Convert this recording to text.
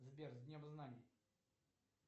сбер с днем знаний